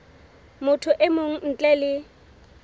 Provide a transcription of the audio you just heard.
motho e mong ntle le